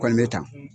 Kɔni bɛ tan